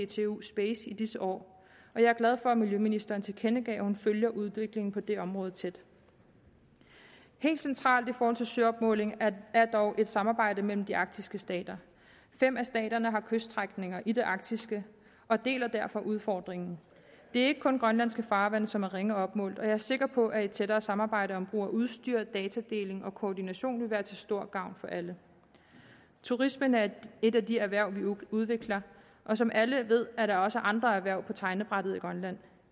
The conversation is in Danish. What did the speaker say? dtu space i disse år jeg er glad for at miljøministeren tilkendegav at hun følger udviklingen på det område tæt helt centralt i forhold til søopmåling er er dog et samarbejde mellem de arktiske stater fem af staterne har kyststrækninger i det arktiske og deler derfor udfordringen det er ikke kun grønlandske farvande som er ringe opmålt og jeg er sikker på at et tættere samarbejde om brug af udstyr datadeling og koordination vil være til stor gavn for alle turismen er et af de erhverv vi udvikler og som alle ved er der også andre erhverv på tegnebrættet i grønland